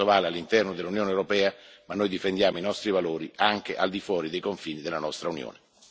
Questo vale all'interno dell'Unione europea, ma noi difendiamo i nostri valori anche al di fuori dei confini della nostra Unione.